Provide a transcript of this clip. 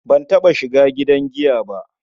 Ban taɓa shiga gidan giya ba.